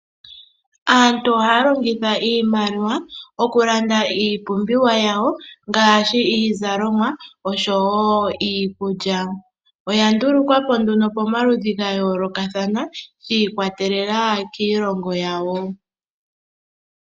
Aantu ohaya longitha iimaliwa okulanda iipumbiwa yawo ngaashi iizalomwa oshowo iikulya. Oya ndulukwa po nduno pomaludhi ga yoolokathana shi ikwatelela kiilongo yawo.